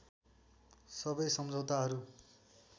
सबै सम्झौताहरू